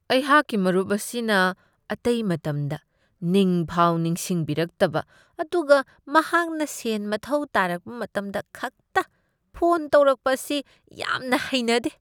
ꯑꯩꯍꯥꯛꯀꯤ ꯃꯔꯨꯞ ꯑꯁꯤꯅ ꯑꯇꯩ ꯃꯇꯝꯗ ꯅꯤꯡꯐꯥꯎ ꯅꯤꯡꯁꯤꯡꯕꯤꯔꯛꯇꯕ ꯑꯗꯨꯒ ꯃꯍꯥꯛꯅ ꯁꯦꯟ ꯃꯊꯧ ꯇꯥꯔꯛꯄ ꯃꯇꯝꯗ ꯈꯛꯇ ꯐꯣꯟ ꯇꯧꯔꯛꯄ ꯑꯁꯤ ꯌꯥꯝꯅ ꯍꯩꯅꯗꯦ ꯫